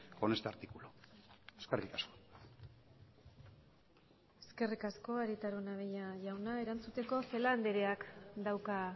con este artículo eskerrik asko eskerrik asko arieta araunabeña jauna erantzuteko celaá andreak dauka